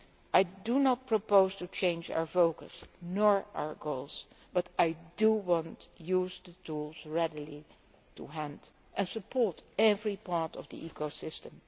I do not propose to change our focus or our goals but I want to use the tools readily to hand and to support every part of the ecosystem.